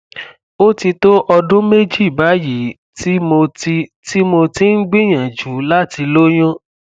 ó ti tó ọdún méjì báyìí tí mo ti tí mo ti ń gbìyànjú láti lóyún